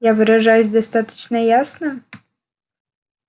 я выражаюсь достаточно ясно